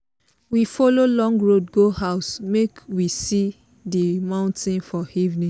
we follow long road go house make we see di mountain for evening